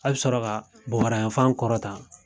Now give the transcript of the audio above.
A bɛ sɔrɔ ka bobarayan fan kɔrɔ ta.